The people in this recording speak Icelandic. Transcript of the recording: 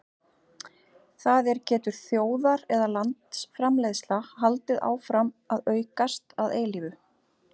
Það er getur þjóðar- eða landsframleiðsla haldið áfram að aukast að eilífu?